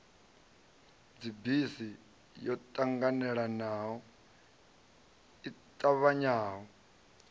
dzibisi yo ṱanganelano i ṱavhanyaho